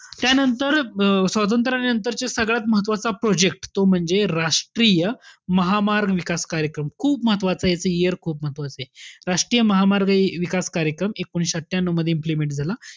त्यानंतर अं स्वातंत्र्यानंतरचा सगळ्या महत्वाचा project तो म्हणजे राष्ट्रीय महामार्ग विकास कार्यक्रम. खूप महत्वाचंय याच year खूप महत्वाचंय. राष्ट्रीय महामार्ग विकास कार्यक्रम, एकोणविशे अठ्ठयांन्यू मध्ये implement झाला.